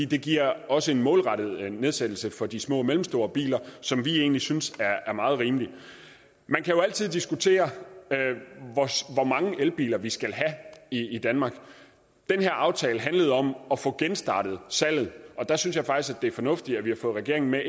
det giver også en målrettet nedsættelse for de små og mellemstore biler som vi egentlig synes er meget rimelig man kan jo altid diskutere hvor mange elbiler vi skal have i danmark den her aftale handlede om at få genstartet salget og der synes jeg faktisk det er fornuftigt at vi har fået regeringen med